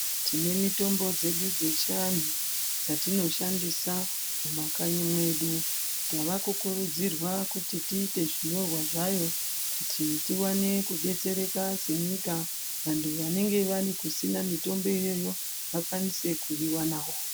Tine mitombo dzedu dzechianhu dzatinoshandisa mumakanyi mwedu. Tavakukurudzirwa kuti tiite zvinyorwa zvayo kuti tiwane kudetsereka senyika. Vanhu vanenge vari kusina mitombo iyoyo vakwanise kuyiwanawo.